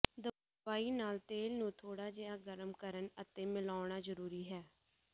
ਦਵਾਈ ਨਾਲ ਤੇਲ ਨੂੰ ਥੋੜ੍ਹਾ ਜਿਹਾ ਗਰਮ ਕਰਨ ਅਤੇ ਮਿਲਾਉਣਾ ਜ਼ਰੂਰੀ ਹੈ